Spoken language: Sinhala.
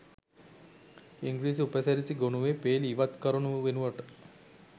ඉංග්‍රීසි උපසිරැසි ගොනුවේ පේළි ඉවත් කරනු වෙනුවට